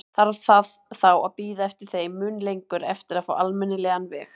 Þarf það þá að bíða þeim mun lengur eftir að fá almennilegan veg?